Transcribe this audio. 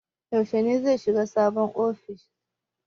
Yaushe ne zai shiga sabon ofishin?